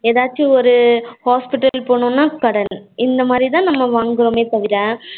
எதாச்சும் ஒரு hospital போகணும்னா கடன் இந்த மாதிரி தான் நம்ம வாங்குவோமே தவிர